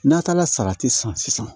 N'a taara salati san sisan